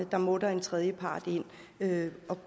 der må en tredjepart ind at